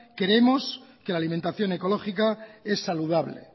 creemos que la alimentación ecológica es saludable